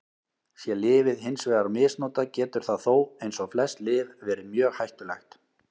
Sé lyfið hins vegar misnotað getur það þó, eins og flest lyf, verið mjög hættulegt.